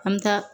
An bɛ taa